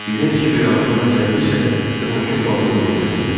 Birdən kiverin ağlına nə gəldisə, tırmaşıb balığın belinə mindi.